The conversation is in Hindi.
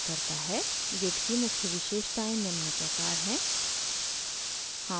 git की मुख्य विशेषताएं निम्न प्रकार हैं: